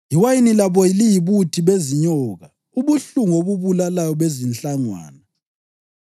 Iwayini labo liyibuthi bezinyoka, ubuhlungu obubulalayo bezinhlangwana.